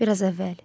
Bir az əvvəl.